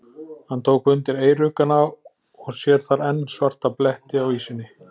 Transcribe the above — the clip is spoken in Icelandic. Hann tók undir eyruggana og sér þar enn svarta bletti á ýsunni.